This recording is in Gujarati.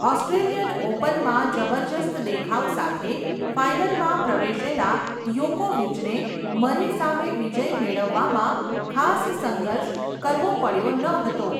ઓસ્ટ્રેલિયન ઓપનમાં જબરદસ્ત દેખાવ સાથે, ફાઇનલમાં પ્રવેશેલા યોકોવિચને, મરે સામે વિજય મેળવવામાં ખાસ સંઘર્ષ કરવો પડયો નહતો.